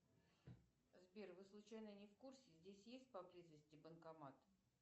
сбер вы случайно не в курсе здесь есть поблизости банкомат